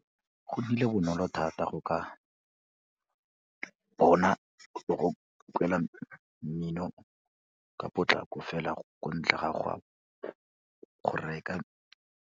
Go nnile bonolo thata go ka bona le go kwala mmino ka potlako fela ko ntle ga go reka.